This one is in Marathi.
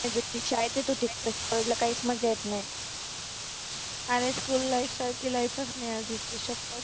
पहिल ती शाळेत येत होती college ला काहीच मज्जा येत नाही. आरे school life सारखी life च नाही दुसरी शप्पत.